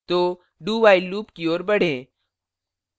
तो do while loop की ओर बढ़ें